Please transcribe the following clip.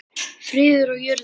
Friður á jörðu.